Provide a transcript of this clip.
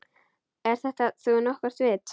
Er þetta nú nokkurt vit.